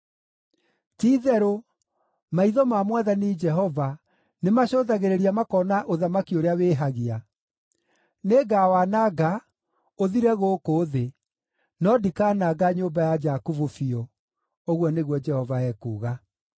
“Ti-itherũ, maitho ma Mwathani Jehova nĩmacũthagĩrĩria makona ũthamaki ũrĩa wĩhagia. Nĩngawananga, ũthire gũkũ thĩ, no ndikaananga nyũmba ya Jakubu biũ,” ũguo nĩguo Jehova ekuuga.